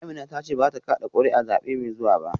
Amina ta ce ba za ta kada kuri’a a zabe mai zuwa ba